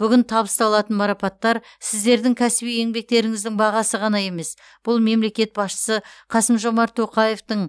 бүгін табысталатын марапаттар сіздердің кәсіби еңбектеріңіздің бағасы ғана емес бұл мемлекет басшысы қасым жомарт тоқаевтың